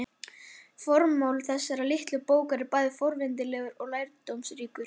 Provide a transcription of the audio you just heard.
Formáli þessarar litlu bókar er bæði forvitnilegur og lærdómsríkur.